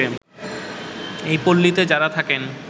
এই পল্লীতে যারা থাকেন